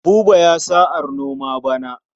Buba ya sa'ar noma bana.